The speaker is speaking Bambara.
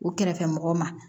U kɛrɛfɛmɔgɔw ma